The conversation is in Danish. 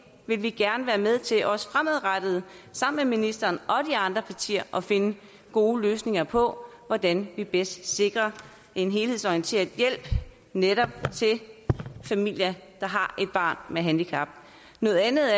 vil gerne være med til også fremadrettet sammen med ministeren og de andre partier at finde gode løsninger på hvordan vi bedst sikrer en helhedsorienteret hjælp til netop familier der har et barn med handicap noget andet